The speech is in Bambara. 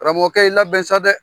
Karamɔgɔkɛ i labɛn sa dɛ!